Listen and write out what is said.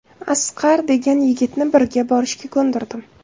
Asqar degan yigitni birga borishga ko‘ndirdim.